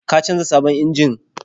Ka canza sabon injin?